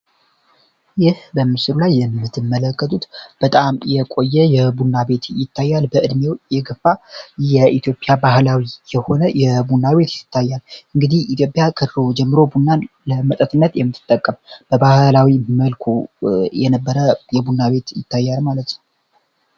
ይህ በምስሉ ላይ የምትመለከቱት በጣም የቆየ የቡና ቤት ይታያል በእድሜው የገፋ የኢትዮጵያ ባህላዊ የሆነ የቡናቤት ይታያል እንግዲህ ኢትዮጵያ ከድሮ ጀምሮ ቡናን ለመጠጥነት የምትጠቀም በባህላዊ መልኩ የነበረ የቡና ቤት ይታያል ማለት ነው።